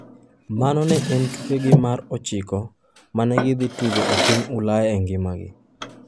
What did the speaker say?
Mano ne en tukegi mar 9 ma ne gidhi tugo e piny Ulaya e ngimagi.